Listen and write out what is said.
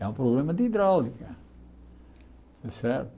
É um problema de hidráulica, certo?